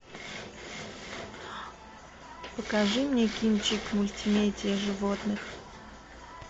покажи мне кинчик мультимедиа животных